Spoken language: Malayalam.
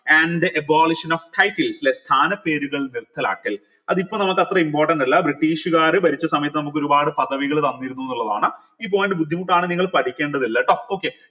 and abolition of title ല്ലെ സ്ഥാന പേരുകൾ നിർത്തലാക്കൽ അതിപ്പോ നമുക്ക് അത്ര important അല്ല ബ്രിട്ടീഷ്കാർ ഭരിച്ച സമയത്ത് നമുക്കൊരുപാട് പദവികൾ തന്നിരുന്നൂന്നുള്ളതാണ് ഈ point ബുദ്ധിമുട്ടാണേൽ നിങ്ങൾ പഠിക്കേണ്ടതില്ല ട്ടോ